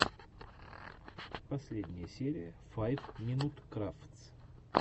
последняя серия файв минут крафтс